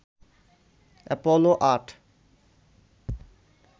Apollo ৮